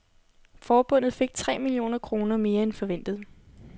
Forbundet fik tre millioner kroner mere end forventet.